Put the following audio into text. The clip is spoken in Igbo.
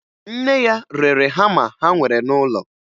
Nne ya rere hama ha nwere n'ụlọ